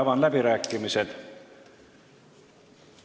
Avan läbirääkimised.